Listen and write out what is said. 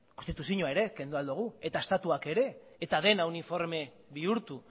konstituzioa ere kendu ahal dugu eta estatuak ere eta dena uniforme bihurtu